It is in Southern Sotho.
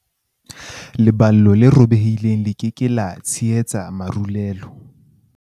leballo le robehileng le ke ke la tshehetsa marulelo